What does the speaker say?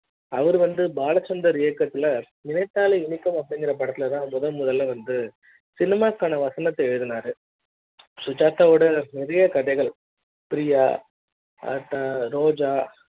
அவரு வந்து பாலச்சந்தர் இயக்கத்துல நினைத்தாலே இனி க்கும் அப்டிங்குற படத்துல தான் முதன்முதலில் வந்து cinema க்கான வசனத்தை எழுதினார் சுஜாதா வோட நிறைய கதைகள் பிரியா அடுத்து ரோஜா